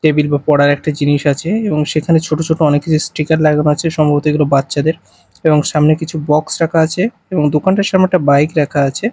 Table বা পড়ার একটি জিনিস আছে এবং সেখানে ছোট ছোট অনেক কিছু স্টিকার লাগানো আছে সম্ভবত এগুলো বাচ্চাদের এবং সামনে কিছু বক্স রাখা আছে এবং দোকানটার সামনে একটা বাইক রাখা আছে।